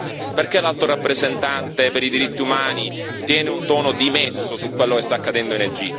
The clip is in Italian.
Perché l'Alto rappresentante per i diritti umani tiene un tono dimesso su quello che sta accadendo in Egitto?